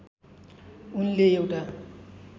उनले एउटा